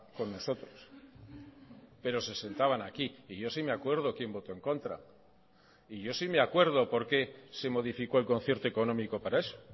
con nosotros pero se sentaban aquí y yo sí me acuerdo quién voto en contra y yo sí me acuerdo por qué se modificó el concierto económico para eso